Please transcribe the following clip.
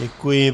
Děkuji.